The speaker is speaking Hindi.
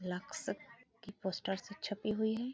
लक्स की पोस्टरस् छपी हुई हैं।